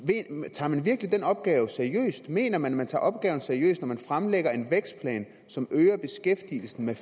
tager man virkelig den opgave seriøst mener man at man tager opgaven seriøst når man fremlægger en vækstplan som øger beskæftigelsen med